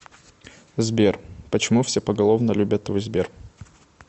сбер почему все поголовно любят твой сбер